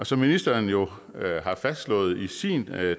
som ministeren jo har fastslået i sin